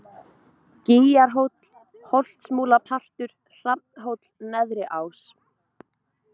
Gýgjarhóll, Holtsmúlapartur, Hrafnhóll, Neðri Ás